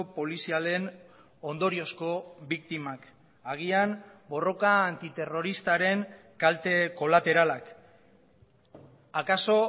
polizialen ondoriozko biktimak agian borroka antiterroristaren kalte kolateralak akaso